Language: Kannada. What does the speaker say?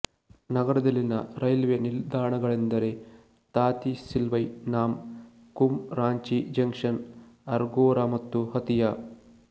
ನಗರದಲ್ಲಿನ ರೈಲ್ವೆ ನಿಲ್ದಾಣಗಳೆಂದರೆತಾತಿಸಿಲ್ವೈನಾಮ್ ಕುಮ್ ರಾಂಚಿ ಜಂಕ್ಷನ್ ಆರ್ಗೊರಾ ಮತ್ತು ಹತಿಯಾ